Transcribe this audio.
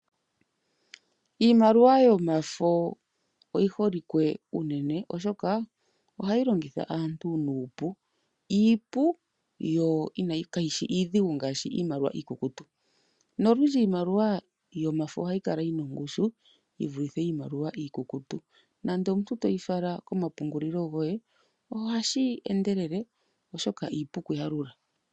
Iimaliwa yomafo oyiholike unene oshoka ohayi longitha aantu nuupu ,iipu yo kayishi iidhigu ngaashi iimaliwa iikukutu nolundji iimaliwa yomafo ohayi kala yina ongushu yivulithe iimaliwa iikukutu .Nando omuntu toyi fala komapungulilo goye ohashi endelele oshoka iipu okuyalula.